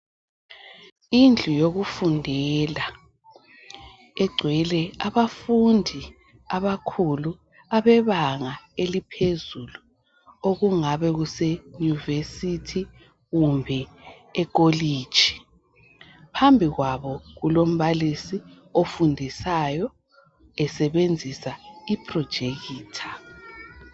Indlu yokufundela igcwele abafundi abakhulu abebanga eliphezulu okungabe kuse yunivesithi kumbe ikolitshi phambi kwabo kulombalisi ofundisayo esebenzisa iprojekitha